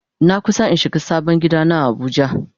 Na kusa in shiga sabon gida na a abuja.